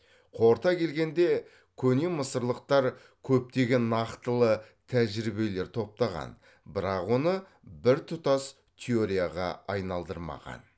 қорыта келгенде көне мысырлықтар көптеген нақтылы тәжірибелер топтаған бірақ оны бір тұтас теорияға айналдырмаған